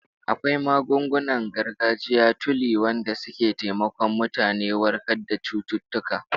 Akwai magungunan gargajiya tuli wanda suke taimakon mutane warkar da cututtuka